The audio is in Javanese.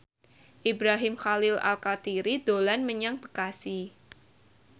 Ibrahim Khalil Alkatiri dolan menyang Bekasi